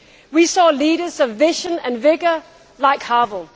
We saw leaders of vision and vigour, like Havel.